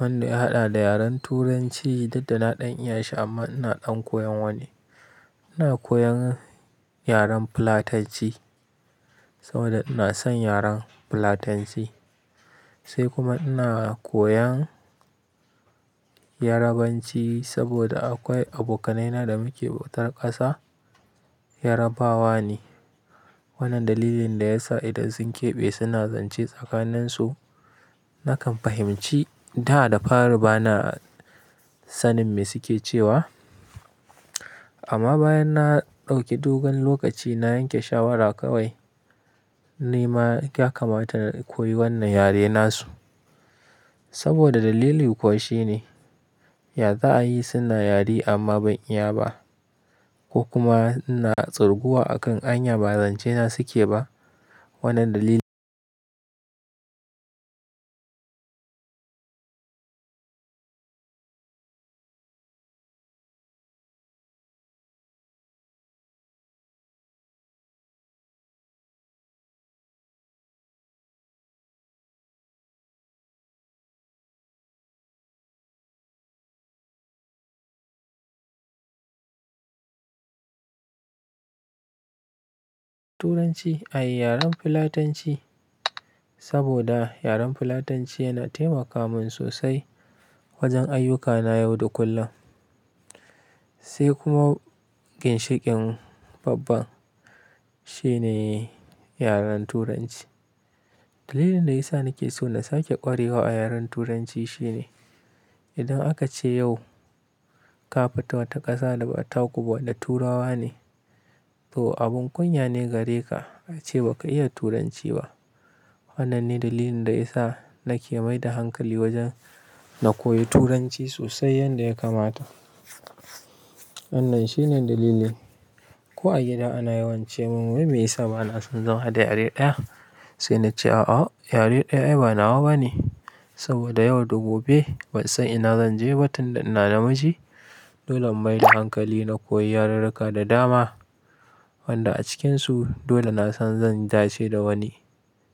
Wanda ya haɗa da yaren Turanci, duk da na ɗan iya shi amma ina ɗan koyan wani. Ina koyan yaren Fulatanci saboda ina son yaren Fulatanci sai kuma ina koyan Yarabanci saboda akwai abokanaina da muke bautar ƙasa Yarabawa ne. Wannan dalilin da ya sa idan sun keɓe suna zance tsakanin su nakan fahimci da da fari ba na sanin me suke cewa. Amma bayan na ɗauki dogon lokaci na yanke shawara kawai nima ya kamata in koyi wannan yare nasu. Saboda dalili kuwa shi ne yaza ayi suna yare amma ban iya ba ko kuma ina tsoruguwa akan hanya ba zance na suke ba. Wannan dalilin Turanci ai yaren Fulatanci saboda yaren Fulatanci yana taimaka mun sosai wajen ayyuka na yau da kullum. Sai kuma ginshiƙin babban shine yaren Turanci. Dalilin da ya sa nake so na sake ƙwarewa a yaren Turanci shine idan aka ce yau ka fita wata ƙasa da ba ta kuba na Turawa ne, to abin kunya ne gare ka a ce baka iya Turanci ba. Wannan ne dalilin da ya sa nake mai da hankali wajen na koyi Turanci sosai yadda ya kamata. Wannan shine dalilin. Ko a gida ana yawance mun wai me ya sa bana son zama da yare ɗaya? Sai na ce a a yare ɗaya ai ba nawa bane saboda yau da gobe ban san ina zan je ba tun da ina namiji. Dole in maida hankali na koya yareka da dama, wanda acikin su dole nasan zan dace da wani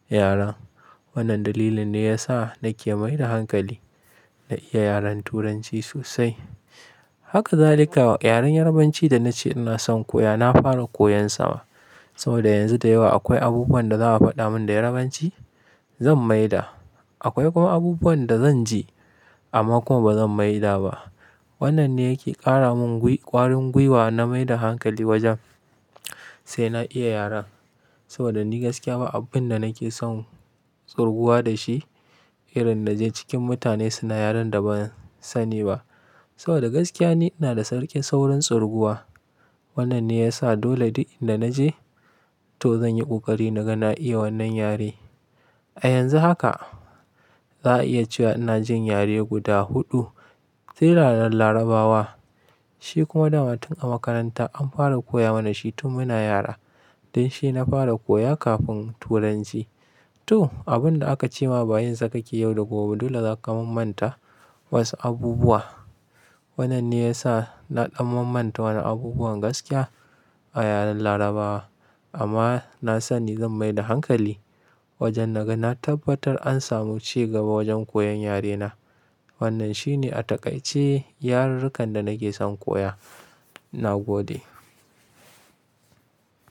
yaren. Wannan dalilin ne yasa nake mai da hankali, na iya yaren turanci sosai. Haka zalika Yaren Yarabanci da na ce ina son koya na fara koyan sa ma, soboda yanxun da yawa akai abubuwan da za a fadamin da Yarabanci zan maida. Akwai kuma abubuwan da zan ji amma kuma bazan maida ba. Wannan ne yake ƙara mun ƙwarin gwiwa na mai da hankali wajen sai na iya yaren saboda ni gaskiya ba abun da nake son tsoruguwa da shi irin naje cikin mutane suna yaren da ban sani ba. Saboda gaskiya ni ina da sarkin saurin tsoruguwa. Wannan ne ya sa dole duk inda naje to zan yi ƙoƙari na ga na iya wannan yare. A yanzu haka za a iya cewa ina jin yare guda huɗu sai yaren Larabawa. Shi kuma dama tun a makaranta an fara koya mana shi tun muna yara. Don shi na fara koya kafin Turanci. To abun da aka ce ma bayin sa kake yau da gobe dole za ka mammanta wasu abubuwa. Wannan ne ya sa na ɗan mammanta wani abubuwan gaskiya a yaren Larabawa amma na sani zan mai da hankali wajen naga na tabbatar an samu cigaba wajen koyan yare na. Wannan shi ne a takaice yarurrukan da nake son koya. Na gode.